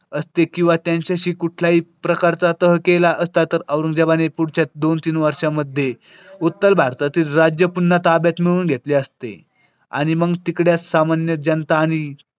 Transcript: असते किंवा त्यांच्याशी कुठल्याही प्रकारचा तह केला असता तर औरंगजेबाने पुढच्या दोन तीन वर्षामध्ये उत्तर भारतातील राज्य पुन्हा ताब्यात मिळवून घेतले असते आणि मग तिकडेच सामान्य जनता आणि.